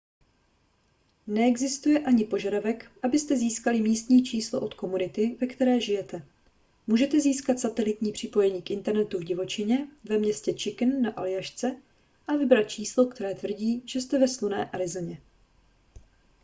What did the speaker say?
neexistuje ani požadavek abyste získali místní číslo od komunity ve které žijete můžete získat satelitní připojení k internetu v divočině ve městě chicken na aljašce a vybrat číslo které tvrdí že jste ve slunné arizoně